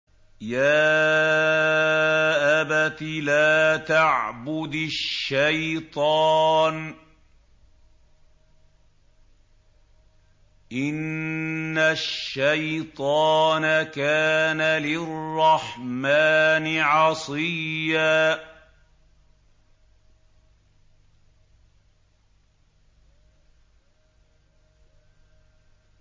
يَا أَبَتِ لَا تَعْبُدِ الشَّيْطَانَ ۖ إِنَّ الشَّيْطَانَ كَانَ لِلرَّحْمَٰنِ عَصِيًّا